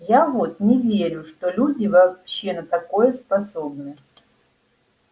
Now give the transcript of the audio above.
я вот не верю что люди вообще на такое способны